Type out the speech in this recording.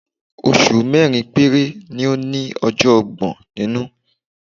Oṣù mẹ́rin péré ni ó ní ọjọ́ ọgbọ̀n nínú.